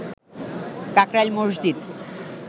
Kakrail Masjid